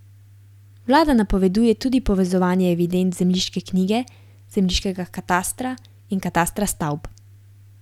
Vlada napoveduje tudi povezovanje evidenc zemljiške knjige, zemljiškega katastra in katastra stavb.